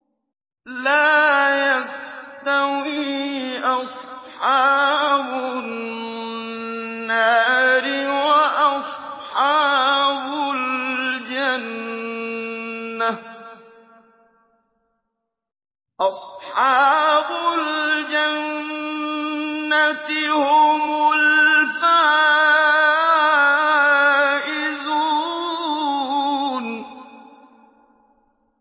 لَا يَسْتَوِي أَصْحَابُ النَّارِ وَأَصْحَابُ الْجَنَّةِ ۚ أَصْحَابُ الْجَنَّةِ هُمُ الْفَائِزُونَ